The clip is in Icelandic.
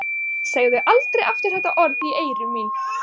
Segðu aldrei aftur þetta orð í mín eyru.